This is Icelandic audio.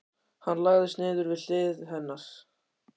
Hann lagðist niður við hlið hennar.